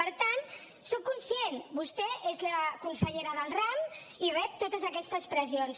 per tant en soc conscient vostè és la consellera del ram i rep totes aquestes pressions